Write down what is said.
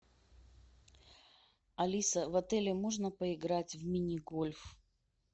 алиса в отеле можно поиграть в мини гольф